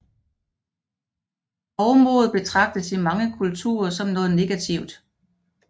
Hovmod betragtes i mange kulturer som noget negativt